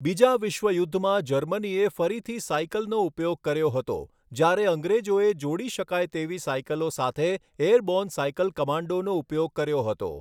બીજા વિશ્વયુદ્ધમાં જર્મનીએ ફરીથી સાયકલનો ઉપયોગ કર્યો હતો, જ્યારે અંગ્રેજોએ જોડી શકાય તેવી સાયકલો સાથે એરબોર્ન સાયકલ કમાન્ડોનો ઉપયોગ કર્યો હતો.